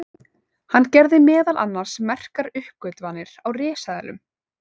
hann gerði meðal annars merkar uppgötvanir á risaeðlum